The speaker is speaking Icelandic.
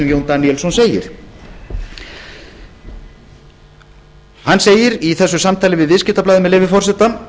jón daníelsson segir hann segir í þessu samtali við viðskiptablaðið með leyfi forseta